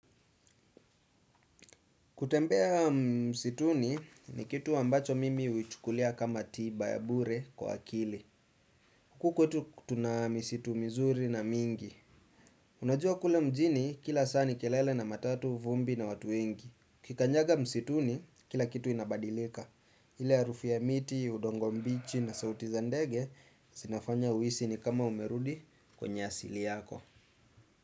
Kutembea msituni ni kitu ambacho mimi huichukulia kama tiba ya bure kwa akili. Huku kwetu tuna misitu mizuri na mingi. Unajua kule mjini kila saa ni kelele na matatu vumbi na watu wengi. Ukikanyaga msituni, kila kitu inabadilika. Ile harufu ya miti, udongo mbichi na sauti za ndege, zinafanya uhisi ni kama umerudi kwenye asili yako.